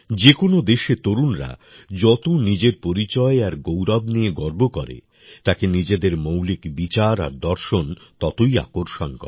যে কোনও দেশে তরুণরা যত নিজের পরিচয় আর গৌরব নিয়ে গর্ব করে তাকে নিজেদের মৌলিক বিচার আর দর্শন ততই আকর্ষণ করে